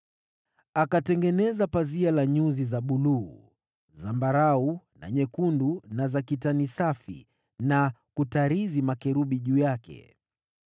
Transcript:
Akatengeneza pazia la nyuzi za rangi ya buluu, zambarau na nyekundu, na za kitani safi, na kutarizi makerubi juu yake.